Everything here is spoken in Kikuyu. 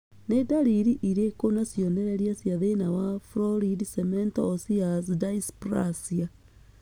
Nĩ ndariri irĩkũ na cionereria cia thĩna wa Florid cemento osseous dysplasia?